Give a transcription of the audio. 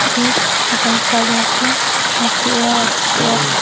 ake ik lapen side natthu ake er ake et.